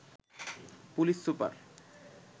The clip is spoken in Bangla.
police super